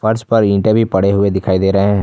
फर्श पर ईंटे भी पड़े हुए दिखाई दे रहे--